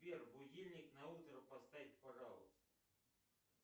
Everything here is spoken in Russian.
сбер будильник на утро поставь пожалуйста